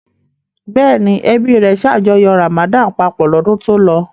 Bẹ́ẹ̀ ni, ẹbí rẹ̀ ṣàjọyọ̀ Ramadan papọ̀ lọ́dún tó lọ.